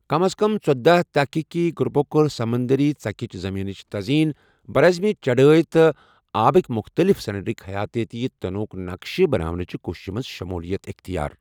کم از کم ژٔۄداہ تحقیٖقی گروپو کٔر سمنٛدری ژَکِچ زٔمیٖنِچ تزیٖن، براعظمی چڑٲے، تہٕ آبٕکۍ مُختٔلِف سرٛنیٚرُک حیاتیٲتی تنوع ہُک نقشہٕ بناونٕچہ کوٗششہ منٛز شموٗلیت اختیار۔